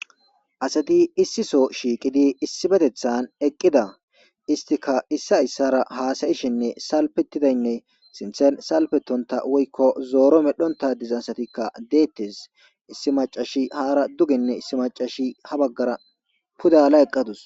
asati issiso shiiqidi issibetethan eqqida istika issa issara haasayishinne salpetidaynne sinthen salpetonta woykko zooro medhonta diza satikka deettes issi macashi haara duginne issi macashi ha baggara pudala eqqadus